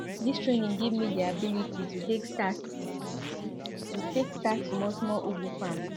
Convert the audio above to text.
dis training give me di ability to take start to take start small ugu farm